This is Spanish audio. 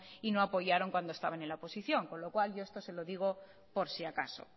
y no apoyaron cuando estaban en la oposición con lo cual yo esto se lo digo por si acaso